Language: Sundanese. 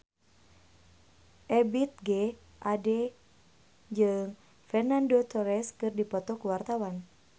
Ebith G. Ade jeung Fernando Torres keur dipoto ku wartawan